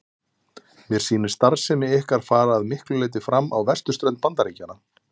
Mér sýnist starfsemi ykkar fara að miklu leyti fram á vesturströnd Bandaríkjanna.